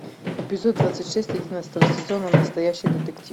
эпизод двадцать шесть одиннадцатого сезона настоящий детектив